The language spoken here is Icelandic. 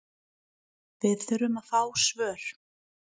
Við þurfum að fá svör